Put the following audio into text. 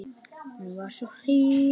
Hún var svo hýr.